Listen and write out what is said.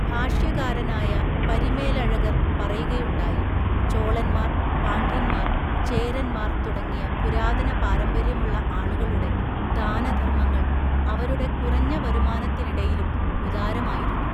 ഭാഷ്യകാരനായ പരിമേലഴഗർ പറയുകയുണ്ടായി, ചോളന്മാർ, പാണ്ഡ്യന്മാർ, ചേരന്മാർ തുടങ്ങിയ പുരാതന പാരമ്പര്യമുള്ള ആളുകളുടെ ദാനധർമ്മങ്ങൾ അവരുടെ കുറഞ്ഞ വരുമാനത്തിനിടയിലും ഉദാരമായിരുന്നു.